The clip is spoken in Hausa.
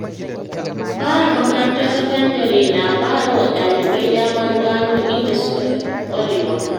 Fara makarantar sakandare na ba wa ɗalibai damar gano inda suka fi ƙwarewa.